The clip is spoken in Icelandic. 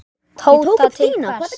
Tóta: Til hvers?